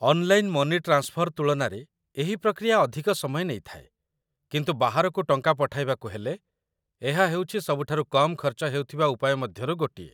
Online money transfer ତୁଳନାରେ ଏହି ପ୍ରକ୍ରିୟା ଅଧିକ ସମୟ ନେଇଥାଏ, କିନ୍ତୁ ବାହାରକୁ ଟଙ୍କା ପଠାଇବାକୁ ହେଲେ, ଏହା ହେଉଛି ସବୁଠାରୁ କମ୍ ଖର୍ଚ୍ଚ ହେଉଥିବା ଉପାୟ ମଧ୍ୟରୁ ଗୋଟିଏ।